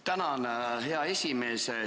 Tänan, hea esimees!